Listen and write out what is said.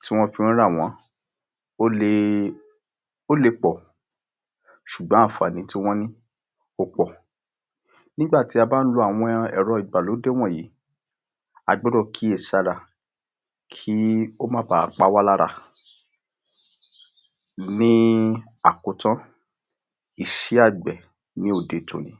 tí wọ́n fí ń rà wọ́n ó le ó le pọ̀ ṣùgbọ́n anfààní tí wọ́n ní ó pọ̀, nígbàtí a bá lo àwọn ẹ̀rọ igbàlódé wọ̀nyìí a gbọ́dọ̀ kíyèsí ara kí ò bà pawálára, ní àkotọ́ iṣẹ́ àgbẹ̀ ní òde tòní.